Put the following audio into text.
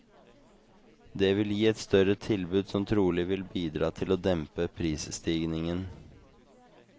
Det vil gi et større tilbud som trolig vil bidra til å dempe prisstigningen.